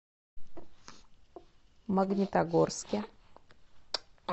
магнитогорске